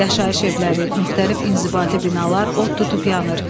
Yaşayış evləri, müxtəlif inzibati binalar od tutub yanır.